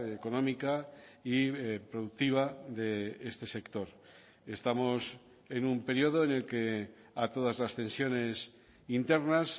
económica y productiva de este sector estamos en un periodo en el que a todas las tensiones internas